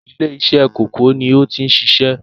ilé-isẹ́ kòkó ni ó ti ń sisẹ́?